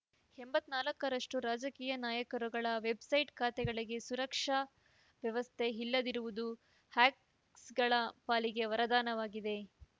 ಎಂಬತ್ತ್ ನಾಲ್ಕರಷ್ಟು ರಾಜಕೀಯ ನಾಯಕರುಗಳ ವೆಬ್‌ಸೈಟ್ ಖಾತೆಗಳಿಗೆ ಸುರಕ್ಷತಾ ವ್ಯವಸ್ಥೆ ಇಲ್ಲದಿರುವುದು ಹ್ಯಾಕಸ್ಸ್ ಗಳ ಪಾಲಿಗೆ ವರದಾನವಾಗಿದೆ